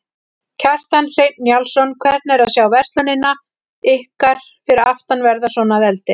Kjartan Hreinn Njálsson: Hvernig er að sjá verslunina ykkar fyrir aftan verða svona að eldi?